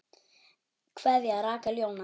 Kveðja, Rakel Jóna.